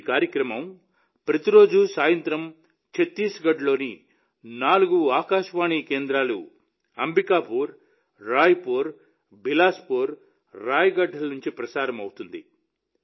ఈ కార్యక్రమం ప్రతిరోజు సాయంత్రం ఛత్తీస్గఢ్లోని నాలుగు ఆకాశవాణి కేంద్రాలు అంబికాపూర్ రాయ్పూర్ బిలాస్పూర్ రాయ్గఢ్ ల నుండి ప్రసారమవుతుంది